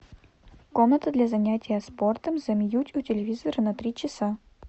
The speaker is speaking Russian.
комната для занятия спортом замьють у телевизора на три часа